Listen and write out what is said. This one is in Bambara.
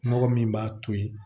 Mɔgɔ min b'a to yen